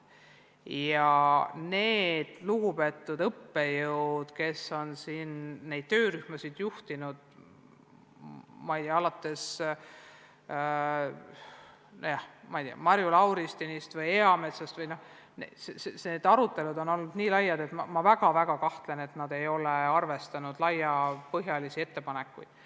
Ja need lugupeetud õppejõud, kes on neid töörühmi juhtinud, ma ei tea, alates Marju Lauristinist või Raul Eametsast – need arutelud on olnud nii laiad, et ma väga kahtlen, et nad ei ole arvestanud laiapõhjalisi ettepanekuid.